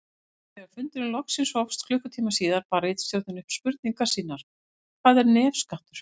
Þegar fundurinn loksins hófst klukkutíma síðar bar ritstjórnin upp spurningar sínar: Hvað er nefskattur?